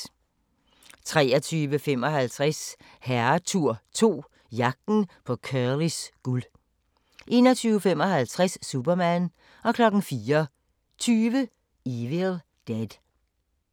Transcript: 23:55: Herretur 2 – Jagten på Curlys guld 01:55: Superman 04:20: Evil Dead